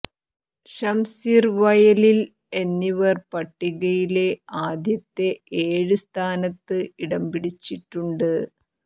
ഷംസീർ വയലിൽ എന്നിവർ പട്ടികയിലെ ആദ്യത്തെ ഏഴ് സ്ഥാനത്ത് ഇടംപിടിച്ചിട്ടുണ്ട്